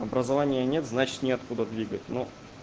образования нет значит нет откуда двигать ну